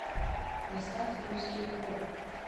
поставь русский поп